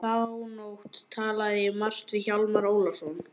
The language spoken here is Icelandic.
Þá nótt talaði ég margt við Hjálmar Ólafsson.